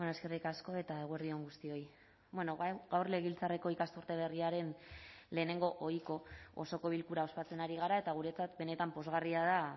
eskerrik asko eta eguerdi on guztioi gaur legebiltzarreko ikasturte berriaren lehenengo ohiko osoko bilkura ospatzen ari gara eta guretzat benetan pozgarria da